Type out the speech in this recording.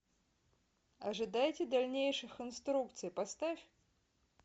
ожидайте дальнейших инструкций поставь